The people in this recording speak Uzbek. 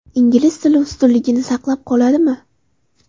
Ingliz tili ustunligini saqlab qoladimi?